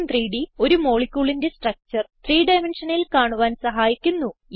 gchem3ഡ് ഒരു moleculeന്റെ സ്ട്രക്ചർ 3 dimensionalൽ കാണുവാൻ സഹായിക്കുന്നു